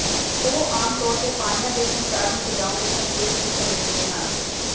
ਉਹ ਆਮ ਤੌਰ ਤੇ ਪਾਣੀਆਂ ਦੇ ਸੰਸਾਰ ਨੂੰ ਸਜਾਉਣ ਲਈ ਸੰਕੇਤ ਨੂੰ ਸਮੇਟਦੇ ਹਨ